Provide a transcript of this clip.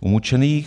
umučených.